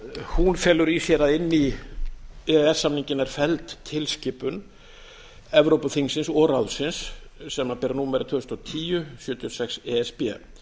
hún felur í sér að inn í e e s samninginn er felld tilskipun evrópuþingsins og ráðsins sem ber númer tvö þúsund og tíu sjötíu og sex e s b